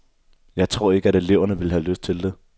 Jeg tror ikke, at eleverne ville have lyst til det.